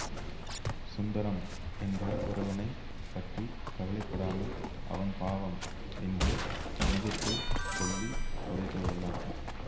சுந்தரம் என்ற ஒருவனை பற்றி கவலை படாமல் அவன் பாவம் என்று மனதுக்குள் சொல்லி புதைத்து விடலாம்